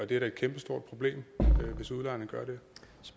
det er da et kæmpestort problem hvis udlejerne